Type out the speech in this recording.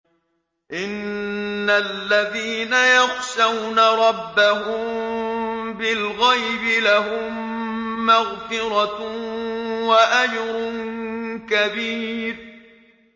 إِنَّ الَّذِينَ يَخْشَوْنَ رَبَّهُم بِالْغَيْبِ لَهُم مَّغْفِرَةٌ وَأَجْرٌ كَبِيرٌ